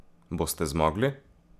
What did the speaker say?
Boste zmogli?